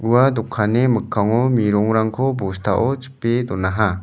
ua dokanni mikkango merongrangko bostao chipe donaha.